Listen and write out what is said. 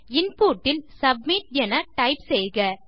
input இல் submit என type செய்க